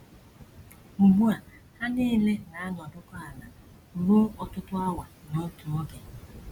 Ugbu a ha nile na - anọdụkọ ala ruo ọtụtụ awa n’otu oge. ”